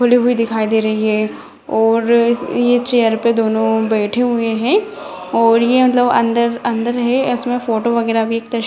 खुली हुई दिखाई दे रही है और इस ये चेयर पे दोनों बैठे हुए है और ये मतलब अंदर अंदर है इसमें फोटो वगैरा भी एक --